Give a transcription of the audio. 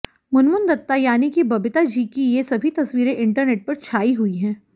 मुनमुन दत्ता यानी कि बबीता जी की ये सभी तस्वीरें इंटरनेट पर छाई हुई हैं